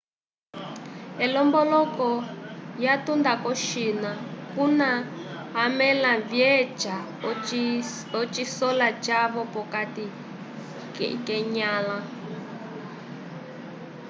elomboloko lyatunda ko-china kuna amẽla vyeca ocisola cavo p'okati k'enyãla